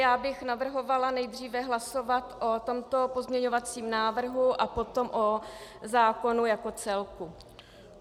Já bych navrhovala nejdříve hlasovat o tomto pozměňovacím návrhu a potom o zákonu jako celku.